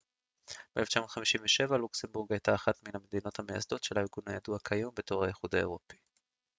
ב-1957 לוקסמבורג הייתה אחת מן המדינות המייסדות של הארגון הידוע כיום בתור האיחוד האירופי